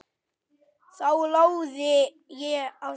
Þá lagði ég af stað.